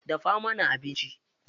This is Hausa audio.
Dafa mana abinci.